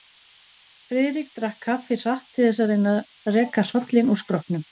Friðrik drakk kaffið hratt til þess að reyna að reka hrollinn úr skrokknum.